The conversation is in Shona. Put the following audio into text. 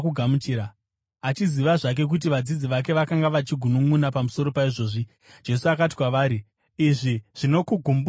Achiziva zvake kuti vadzidzi vake vakanga vachigununʼuna pamusoro paizvozvi, Jesu akati kwavari, “Izvi zvinokugumburai here?